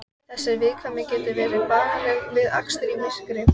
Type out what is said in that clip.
Þessi viðkvæmni getur verið bagaleg við akstur í myrkri.